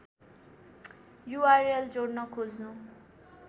URL जोड्न खोज्नु